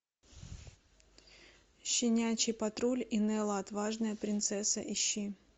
щенячий патруль и нелла отважная принцесса ищи